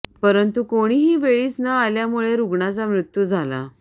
परंतु कोणीही वेळीच न आल्यामुळे रुग्णाचा मृत्यू झाला